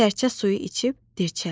Sərçə suyu içib dircəldi.